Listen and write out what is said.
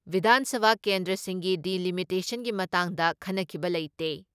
ꯕꯤꯙꯥꯟ ꯁꯚꯥ ꯀꯦꯟꯗ꯭ꯔꯁꯤꯡꯒꯤ ꯗꯤꯂꯤꯃꯤꯇꯦꯁꯟꯒꯤ ꯃꯇꯥꯡꯗ ꯈꯟꯅꯈꯤꯕ ꯂꯩꯇꯦ ꯫